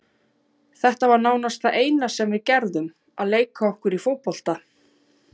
Þetta var nánast það eina sem við gerðum, að leika okkur í fótbolta.